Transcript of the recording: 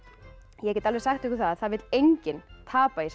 ég get alveg sagt ykkur það að það vill enginn tapa í þessari